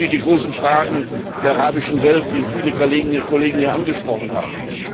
Natürlich die großen Fragen der arabischen Welt, die viele Kolleginnen und Kollegen hier angesprochen haben.